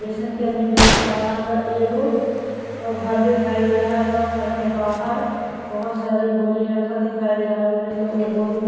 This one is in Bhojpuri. पेशेंट के आदमी देख पा रहल बा एगो और घर दिखाइ दे रहल बा घर के बाहर बहुत सारी बोरी रखल दिखाइ दे रहल बारी सन ए बोरी में --